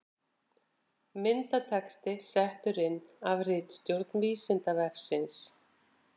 Myndatexti settur inn af ritstjórn Vísindavefsins.